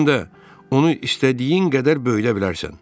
Həm də onu istədiyin qədər böyüdə bilərsən.